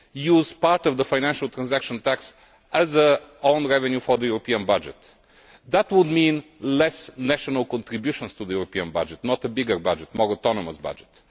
use part of the Financial Transaction Tax as own revenue for the European budget. That would mean less national contributions to the European budget not a bigger budget, but a more autonomous budget.